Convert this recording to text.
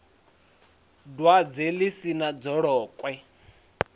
dwadze ḽi si na dzolokwe